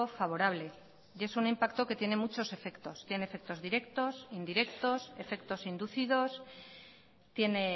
favorable y es un impacto que tiene muchos efectos tiene efectos directos indirectos efectos inducidos tiene